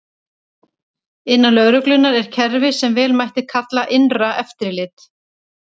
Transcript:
Innan lögreglunnar er kerfi sem vel mætti kalla innra eftirlit.